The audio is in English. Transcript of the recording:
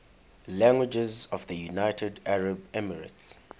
languages of the united arab emirates